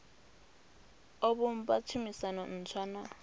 o vhumba tshumisano ntswa na